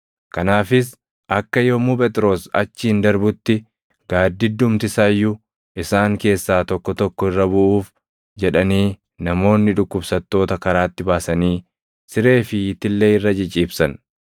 Kanaafis akka yommuu Phexros achiin darbutti gaaddiddumti isaa iyyuu isaan keessaa tokko tokko irra buʼuuf jedhanii namoonni dhukkubsattoota karaatti baasanii siree fi itillee irra ciciibsan.